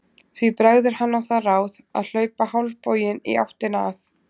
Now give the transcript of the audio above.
Því bregður hann á það ráð að hlaupa hálfboginn í áttina að